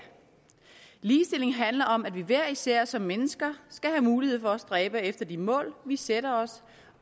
ligestilling handler om at vi hver især som mennesker skal have mulighed for at stræbe efter de mål vi sætter os